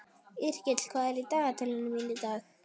Yrkill, hvað er í dagatalinu mínu í dag?